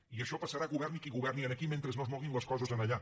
i això passarà governi qui governi aquí mentre no es moguin les coses allà